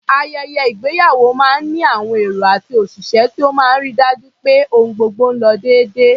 Ayẹyẹ ìgbéyàwó máa ń ní àwọn èrò àti òṣìṣẹ́ tó máa ń ri dájú pé ohun gbogbo lo déédé.